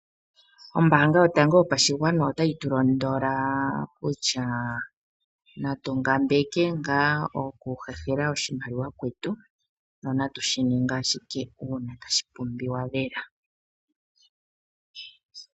Ombaanga yotango yopashigwana ota yi tulondola kutya natungambeke ngaa oku hehela kwetu, no natu shininge ashike uuna tashi pumbiwa lela.